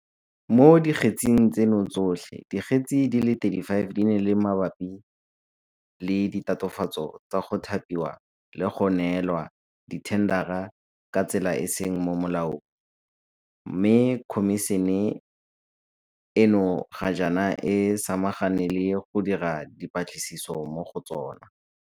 Mo dikgetseng tseno tsotlhe, dikgetse di le 35 di ne di le mabapi le ditatofatso tsa go thapiwa le go neelwa dithendara ka tsela e e seng mo molaong mme Khomišene eno ga jaana e samagane le go dira dipatlisiso mo go tsona.